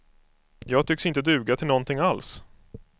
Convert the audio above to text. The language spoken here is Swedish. Jag tycks inte duga till någonting alls.